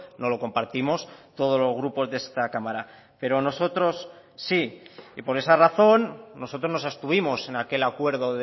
no lo compartimos todos los grupos de esta cámara pero nosotros sí y por esa razón nosotros nos abstuvimos en aquel acuerdo